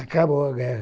Acabou a guerra.